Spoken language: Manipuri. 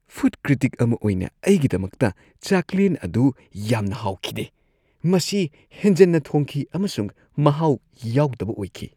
ꯐꯨꯗ ꯀ꯭ꯔꯤꯇꯤꯛ ꯑꯃ ꯑꯣꯏꯅ ꯑꯩꯒꯤꯗꯃꯛꯇ, ꯆꯥꯛꯂꯦꯟ ꯑꯗꯨ ꯌꯥꯝꯅ ꯍꯥꯎꯈꯤꯗꯦ ꯫ ꯃꯁꯤ ꯍꯦꯟꯖꯟꯅ ꯊꯣꯡꯈꯤ ꯑꯃꯁꯨꯡ ꯃꯍꯥꯎ ꯌꯥꯎꯗꯕ ꯑꯣꯏꯈꯤ ꯫